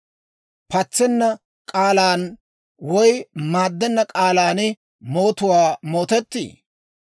Patsenna k'aalaan woy maaddenna k'aalaan mootuwaa mootettii?